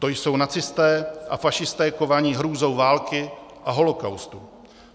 To jsou nacisté a fašisté kovaní hrůzou války a holocaustu.